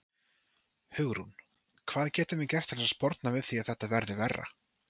Hugrún: Hvað getum við gert til að sporna við því að þetta verði verra?